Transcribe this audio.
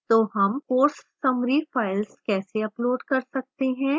तो हम course summary files कैसे upload कर सकते हैं